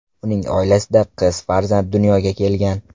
Uning oilasida qiz farzand dunyoga kelgan .